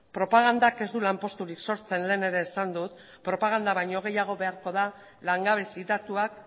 propagandak ez du lanposturik sortzen lehen ere esan dut propaganda baino gehiago beharko da langabezi datuak